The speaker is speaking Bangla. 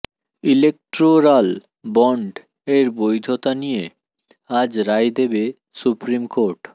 ইলেক্টোরাল বন্ড এর বৈধতা নিয়ে আজ রায় দেবে সুপ্রিম কোর্ট